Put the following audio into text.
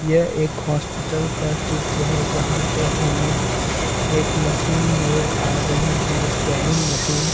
यह एक हॉस्पिटल का चित्र है जहां पे हमें एक मशीन नजर आ रही है स्कैनिंग मशीन .